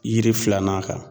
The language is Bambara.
Yiri filanan kan.